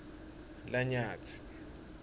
lanyatsi